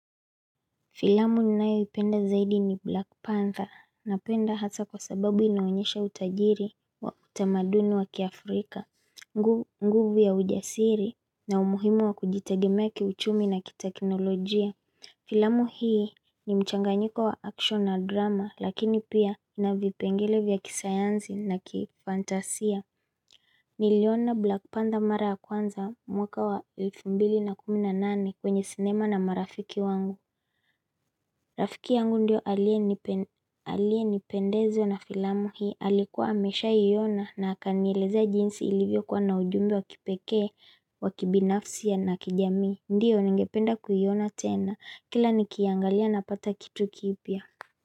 Filamu ninayoipenda zaidi ni Black Panther napenda hasa kwa sababu inaonyesha utajiri wa utamaduni wa kiafrika nguvu nguvu ya ujasiri na umuhimu wa kujitegemea kiuchumi na kiteknolojia Filamu hii ni mchanganyiko wa action na drama lakini pia inavipengele vya kisayansi na kifandasia Niliona Black Panther mara ya kwanza mwaka wa elfu mbili na kumi na nane kwenye sinema na marafiki wangu Rafiki yangu ndiyo aliyependezwa na filamu hii alikuwa ameshawahi kuiona na akanieleza jinsi ilivyo kuwa na ujumbe wa kipekee wa kibinafsi ya na kijamii ndiyo ningependa kuiona tena kila nikiangalia napata kitu kipya.